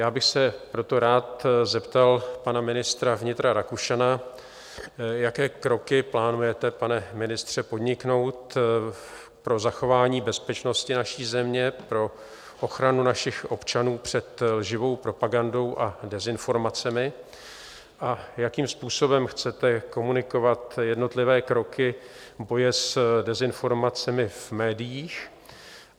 Já bych se proto rád zeptal pana ministra vnitra Rakušana, jaké kroky plánujete, pane ministře, podniknout pro zachování bezpečnosti naší země, pro ochranu našich občanů před živou propagandou a dezinformacemi a jakým způsobem chcete komunikovat jednotlivé kroky boje s dezinformace v médiích.